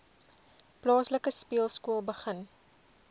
plaaslike speelskool begin